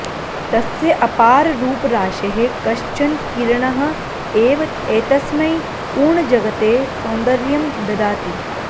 तस्य अपाररूपराशेः कश्चन किरणः एव एतस्मै पूर्णजगते सौन्दर्यं ददाति